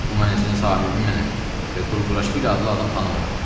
Bu mənzilin sahibi mənəm və Qurquraşvili adlı adam tanımıram.